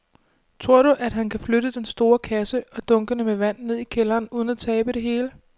Tror du, at han kan flytte den store kasse og dunkene med vand ned i kælderen uden at tabe det hele?